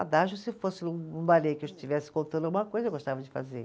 se fosse um balê que eu estivesse contando alguma coisa, eu gostava de fazer.